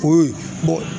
Ko